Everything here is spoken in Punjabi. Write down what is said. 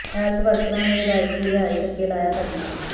ਹੈਲਥ ਵਰਕਰਾਂ ਨੇ ਵਿਧਾਇਕ ਦੀ ਰਿਹਾਇਸ਼ ਅੱਗੇ ਲਾਇਆ ਧਰਨਾ